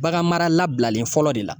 Bagan mara labilalen fɔlɔ de la.